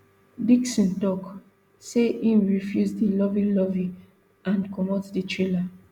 dixon tok say im refuse di loveylovey and comot di trailer